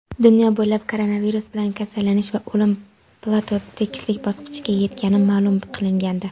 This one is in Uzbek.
dunyo bo‘ylab koronavirus bilan kasallanish va o‘lim "plato" (tekislik) bosqichiga yetgani ma’lum qilingandi.